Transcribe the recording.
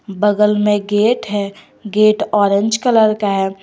बगल में गेट हैं गेट ऑरेंज कलर का है।